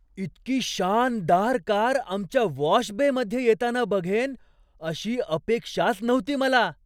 इतकी शानदार कार आमच्या वॉश बेमध्ये येताना बघेन अशी अपेक्षाच नव्हती मला.